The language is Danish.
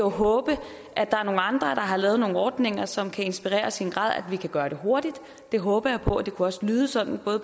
håbe at der er nogle andre der har lavet nogle ordninger som kan inspirere os i en grad vi kan gøre det hurtigt det håber jeg på og det kunne også lyde sådan